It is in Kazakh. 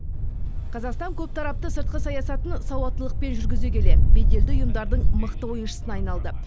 қазақстан көптарапты сыртқы саясатын сауаттылықпен жүргізе келе беделді ұйымдардың мықты ойыншысына айналды